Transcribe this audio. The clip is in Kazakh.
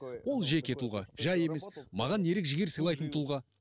ол жеке тұлға жай емес маған ерік жігер сыйлайтын тұлға